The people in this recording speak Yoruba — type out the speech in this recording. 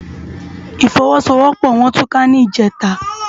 Ifòwòsówòpò wòn túká nijètá